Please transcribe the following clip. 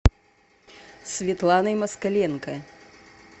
светланой москаленко